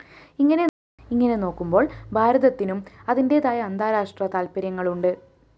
ഇങ്ങനെ നോക്കുമ്പോള്‍ ഭാരതത്തിനും അതിന്റേതായ അന്താരാഷ്ട്ര താല്‍പര്യങ്ങളുണ്ട്